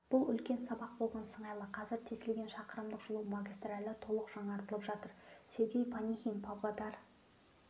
бұл үлкен сабақ болған сыңайлы қазір тесілген шақырымдық жылу магистралі толық жаңартылып жатыр сергей панихин павлодар